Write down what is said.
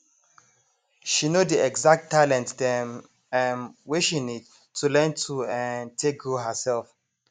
she know the exact talent dem um wey she need to learn to um take grow herself